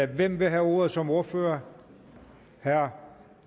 hvem vil have ordet som ordfører herre